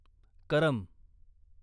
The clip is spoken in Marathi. करम